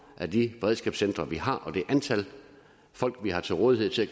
de beredskabscentre vi har og det antal folk vi har til rådighed til at